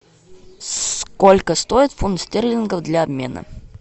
сколько стоит фунт стерлингов для обмена